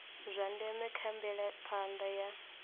zwa ndeme kha mvelaphanda ya